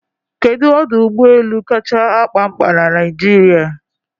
Kedu ọdụ ụgbọ elu kacha akpa ñkpa na Naịjirịa?